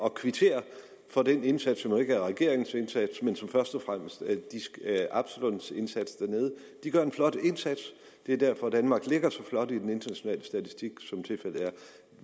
at kvittere for den indsats som jo ikke er regeringens indsats men som først og fremmest er absalons indsats dernede de gør en flot indsats det er derfor danmark ligger så flot i den internationale statistik som tilfældet er